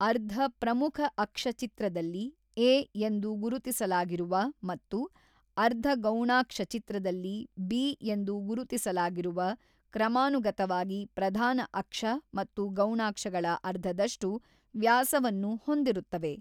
ಅರ್ಧ ಪ್ರಮುಖ ಅಕ್ಷ ಚಿತ್ರದಲ್ಲಿ ಎ ಎಂದು ಗುರುತಿಸಲಾಗಿರುವ ಮತ್ತು ಅರ್ಧಗೌಣಾಕ್ಷ ಚಿತ್ರದಲ್ಲಿ ಬಿ ಎಂದು ಗುರುತಿಸಲಾಗಿರುವ ಕ್ರಮಾನುಗತವಾಗಿ ಪ್ರಧಾನಆಕ್ಷ ಮತ್ತು ಗೌಣಾಕ್ಷಗಳ ಅರ್ಧದಷ್ಟು ವ್ಯಾಸವನ್ನು ಹೊಂದಿರುತ್ತವೆ.